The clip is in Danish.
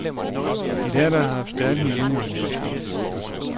De lærde har haft stærke meninger om spørgsmålet.